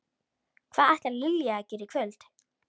Hvað ætlar Lilja að gera í kvöld?